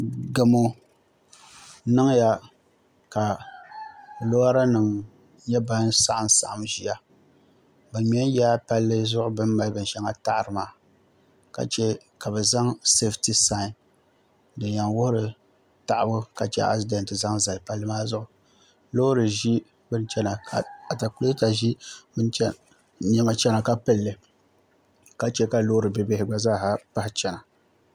Gamo niŋya ka lora nim nyɛ ban saɣam saɣam ʒiya bi ŋmɛ n yaa palli zuɣu bi ni mali bin shɛŋa taɣari maa ka chɛ ka bi zaŋ sɛfiti saain din yɛn wuhuri taɣabu ka chɛ asidɛnt zaŋ zali palli maa zuɣu loori ʒi bini chɛna ka atakulɛta ʒi niɛma chɛna ka pilli ka chɛ ka loori bibihi gba zaa chɛna